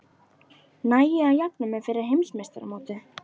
Næ ég að jafna mig fyrir heimsmeistaramótið?